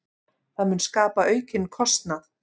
Það mun skapa aukinn kostnað.